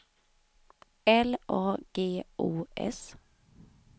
L A G O S